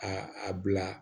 A a bila